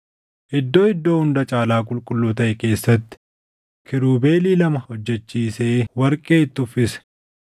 Iddoo Iddoo Hunda Caalaa Qulqulluu taʼe keessatti kiirubeelii lama hojjechiisee warqee itti uffise.